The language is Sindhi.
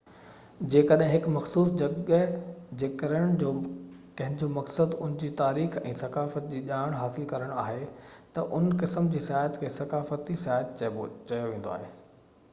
جيڪڏهن هڪ مخصوص جڳهه جي ڪرڻ جو ڪنهنجو مقصد ان جي تاريخ ۽ ثقافت جي ڄاڻ حاصل ڪرڻ آهي ته هن قسم جو سياحت کي ثقافتي سياحت چيو ويندو آهي